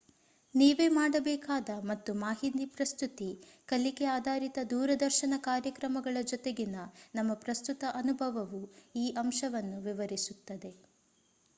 ನೀವೇ ಮಾಡಬೇಕಾದ ಮತ್ತು ಮಾಹಿತಿ ಪ್ರಸ್ತುತಿ ಕಲಿಕೆ ಆಧಾರಿತ ದೂರದರ್ಶನ ಕಾರ್ಯಕ್ರಮಗಳ ಜೊತೆಗಿನ ನಮ್ಮ ಪ್ರಸ್ತುತ ಅನುಭವವು ಈ ಅಂಶವನ್ನು ವಿವರಿಸುತ್ತದೆ